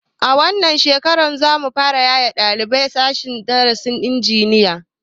A wannan shekarar za mu fara yaye ɗalibai daga sashen darasin injiniya